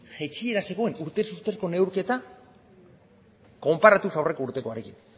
jaitsiera zegoen urtez urteko neurketa konparatuz aurreko urtekoarekin